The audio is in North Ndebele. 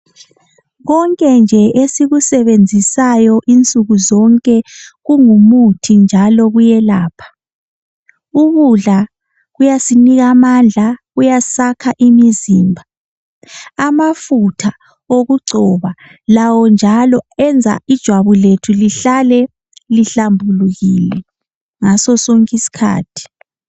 Konke nje esikusebenzisa insuku zonke kumuthi njalo kuyelapha ukudla kuyasinika amandla kuyasakha imizimba amafutha okugcoba lawo njalo enza ijwabu lethu lihlale lihlambulukile ngaso sonke isikhathi.